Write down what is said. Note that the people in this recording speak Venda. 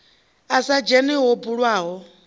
a sa dzhene ho bulwaho